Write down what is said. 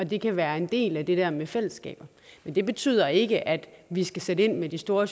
det kan være en del af det der med fællesskabet men det betyder ikke at vi skal sætte ind med de store